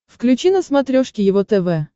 включи на смотрешке его тв